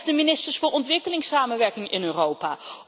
Of de ministers voor Ontwikkelingssamenwerking in Europa?